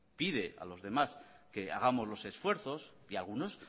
pide a los demás que hagamos los esfuerzos y a algunos